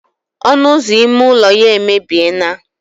ọnụ ụzọ ime ụlọ ya emebie naa